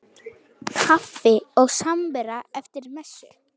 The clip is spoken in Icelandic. Kaffi og samvera eftir messu.